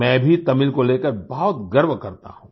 मैं भी तमिल को लेकर बहुत गर्व करता हूँ